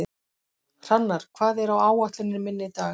Hrannar, hvað er á áætluninni minni í dag?